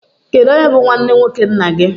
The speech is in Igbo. Kedụ onye bụ nwanne nwoke nna gị?